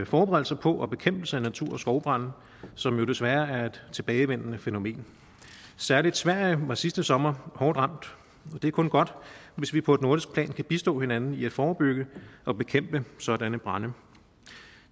forberedelse på og bekæmpelse af natur og skovbrande som jo desværre er tilbagevendende fænomen særlig sverige var sidste sommer hårdt ramt så det er kun godt hvis vi på et nordisk plan kan bistå hinanden i at forebygge og bekæmpe sådanne brande